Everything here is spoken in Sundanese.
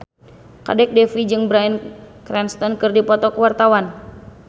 Kadek Devi jeung Bryan Cranston keur dipoto ku wartawan